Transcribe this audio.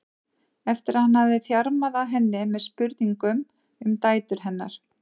eftir að hann hafði þjarmað að henni með spurningum um dætur hennar.